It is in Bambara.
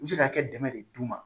U bɛ se ka kɛ dɛmɛ de d'u ma